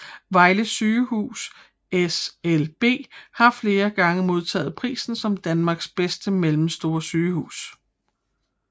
Vejle Sygehus SLB har flere gange modtaget prisen som Danmarks bedste mellemstore sygehus